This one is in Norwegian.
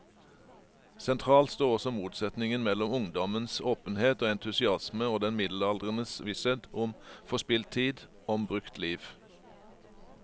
Sentralt står også motsetningen mellom ungdommens åpenhet og entusiasme og den middelaldrendes visshet om forspilt tid, om brukt liv.